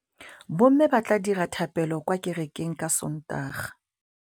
Bommê ba tla dira dithapêlô kwa kerekeng ka Sontaga.